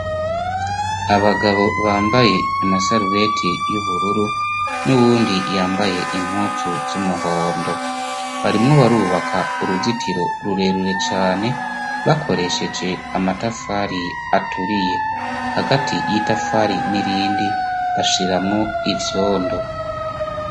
Abagabo bambaye amaserubeti y'ubururu n'uwundi yambaye impuzu z'umuhondo, barimwo barubaka uruzitiro rurerure cane bakoresheje amatafari aturiye. Hagati y'itafari n'irindi bashiramwo ivyondo.